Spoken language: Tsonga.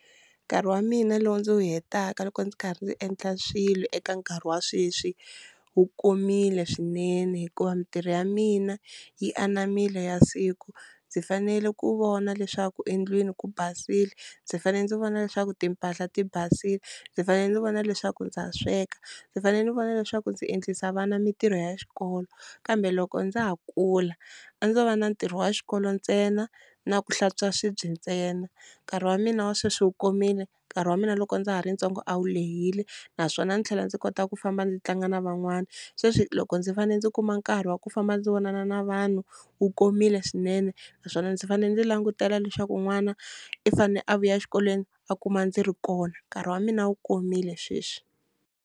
Nkarhi wa mina lowu ndzi wu hetaka loko ndzi karhi ndzi endla swilo eka nkarhi wa sweswi wu komile swinene hikuva mintirho ya mina yi ananmile ya siku, ndzi fanele ku vona leswaku endlwini ku basile, ndzi fanele ndzi vona leswaku timpahla ti basile, ndzi fanele ndzi vona leswaku ndza ha sweka, ndzi fanele ndzi vona leswaku ndzi endlisa vana mintirho ya xikolo kambe loko ndza ha kula a ndzo va na ntirho wa xikolo ntsena na ku hlantswa swibye ntsena, nkarhi wa mina wa sweswi wu komile nkarhi wa mina loko ndza ha ri ntsongo a wu lehile naswona ndzi tlhela ndzi kota ku famba ndzi tlanga na van'wana, sweswi loko ndzi fanele ndzi kuma nkarhi wa ku famba ndzi vonana na vanhu wu komile swinene naswona ndzi fanele ndzi langutela leswaku n'wana i fanele a vuya exikolweni a kuma ndzi ri kona nkarhi wa mina wu komile sweswi.